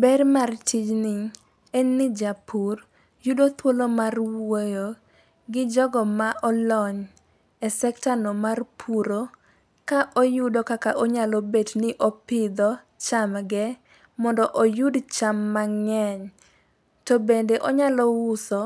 Ber mar tijni, en ni japur yudo thuolo mar wuoyo, gi jogo ma olony e sektano mar puro, ka oyudo kaka onyalo bet ni opidho chamge, mondo oyud cham mang'eny. To bende onyalo uso